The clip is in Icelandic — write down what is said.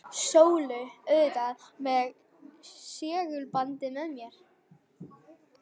Sólu, auðvitað með segulbandið með mér.